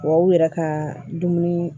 Wa u yɛrɛ ka dumuni